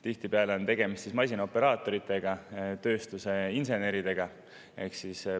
Tihtipeale on tegemist masinaoperaatoritega, tööstusinseneridega.